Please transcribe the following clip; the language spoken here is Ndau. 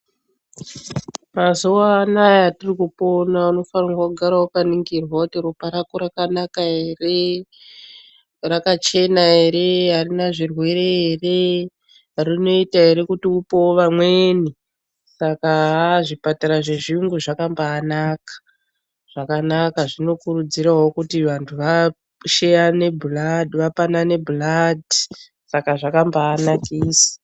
Mazuwa anaya atiri kupona unofanira kugara wakaningirwa kuti ropa rako rakanaka ere, rakachena here, harina zvirwere ere rinoita here kuti upewo vamweni. Saka haa zvipatara zvechiyungu zvakambanaka zvakanaka ngekuti zvinokurudzire kuti vanhu vapanane bhuladhi saka zvakambanakisa.